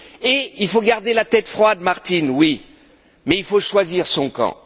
Et il faut garder la tête froide, Martin, oui, mais il faut choisir son camp.